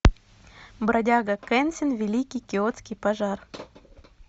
бродяга кэнсин великий киотский пожар